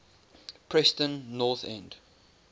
preston north end